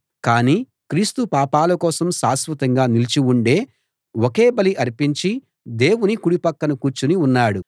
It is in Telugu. కానీ క్రీస్తు పాపాల కోసం శాశ్వతంగా నిలిచి ఉండే ఒకే బలి అర్పించి దేవుని కుడి పక్కన కూర్చుని ఉన్నాడు